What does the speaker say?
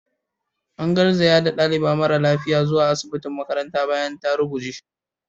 An garzaya da dalibar mara lafiyar zuwa asibitin makarantar bayan ta ruguje.